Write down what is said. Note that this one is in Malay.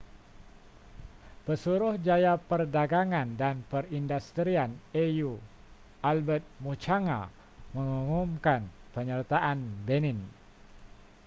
pesuruhjaya perdagangan dan perindustrian au albert muchanga mengumumkan penyertaan benin